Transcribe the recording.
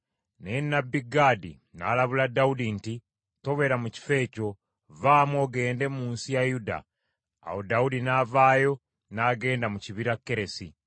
Naye nnabbi Gaadi n’alabula Dawudi nti, “Tobeera mu kifo ekyo, vaamu ogende mu nsi ya Yuda.” Awo Dawudi n’avaayo n’agenda mu kibira Keresi.